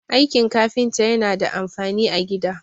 aikin kafinta yana da amfani a gida